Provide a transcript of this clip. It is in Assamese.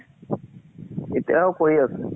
ইতিয়াও কৰি আছো।